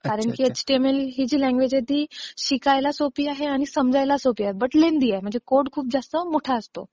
कारण एचटीएमएलही जी लँग्वेज आहे ती, शिकायला सोपी आहे आणि समजायला सोपी आहे पण लेनदी आहे म्हणजे कोड खूप जास्त मोठा असतो.